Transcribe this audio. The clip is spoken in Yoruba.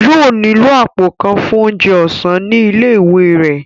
Yóò nílò àpò kan fún oúnjẹ ọ̀sán ní ilé ìwé rẹ̀